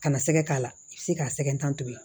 Kana sɛgɛ k'a la i bi se k'a sɛgɛn tan to yen